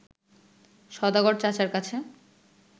সওদাগর চাচার কাছে